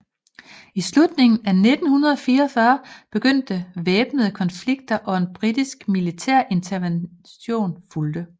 I slutningen af 1944 begyndte væbnede konflikter og en britisk militærintervention fulgte